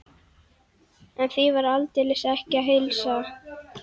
En því var aldeilis ekki að heilsa.